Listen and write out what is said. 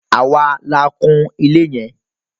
Àwa la kun ilé yẹn.